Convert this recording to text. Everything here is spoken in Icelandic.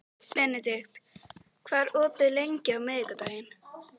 Benedikt, hvað er opið lengi á miðvikudaginn?